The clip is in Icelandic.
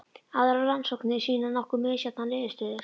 Aðrar rannsóknir sýna nokkuð misjafnar niðurstöður.